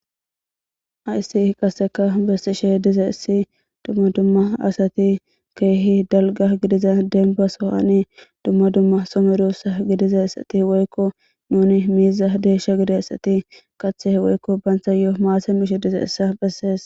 hayssi qaseka bessishe dizayssi dumma dumma asati keehi dalga gidiza denba sohani dumma dumma some russa gidiza issati woykko nuni miiza deesha gidzaysati kathe woykko bayntha yoo maase mishe diza issa bessees